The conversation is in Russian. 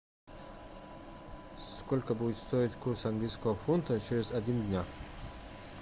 сколько будет стоить курс английского фунта через один дня